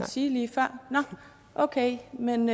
sige lige før nej nå okay men